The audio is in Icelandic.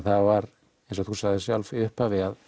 það var eins og þú sagðir sjálf í upphafi að